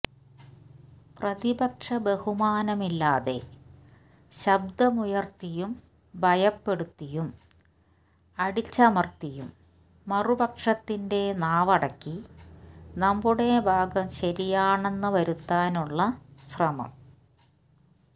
പ്രതിപക്ഷ ബഹുമാനമില്ലാതെ ശബ്ദമുയ ർത്തിയും ഭയപ്പെടുത്തിയും അടിച്ചമർത്തിയും മറുപക്ഷത്തിന്റെ നാവടക്കി നമ്മുടെ ഭാഗം ശരിയാണെന്നു വരുത്താനുള്ള ശ്രമം